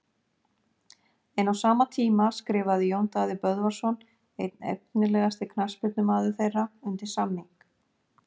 En á sama tíma skrifaði Jón Daði Böðvarsson einn efnilegasti knattspyrnumaður þeirra undir samning.